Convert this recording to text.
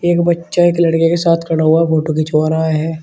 एक बच्चा एक लड़के के साथ खड़ा हुआ फोटो खिंचवा रहा है।